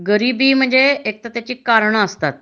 गरिबी म्हणजे एक तर त्याची कारणे असतात